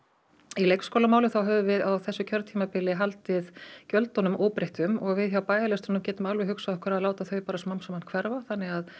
í leikskólamálum þá höfum við á þessu kjörtímabili haldið gjöldunum óbreyttum og við hjá gætum alveg hugsað okkur að láta þau smám saman hverfa þannig að